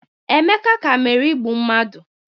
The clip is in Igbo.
Emeka ka mere igbu mmadụ